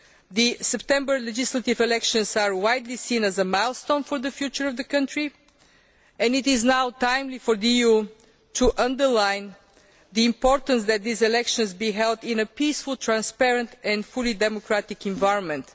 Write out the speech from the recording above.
The September legislative elections are widely seen as a milestone for the future of the country and it is now timely for the EU to underline the importance that these elections be held in a peaceful, transparent and fully democratic environment.